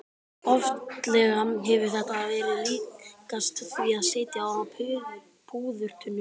Oftlega hefur þetta verið líkast því að sitja á púðurtunnu.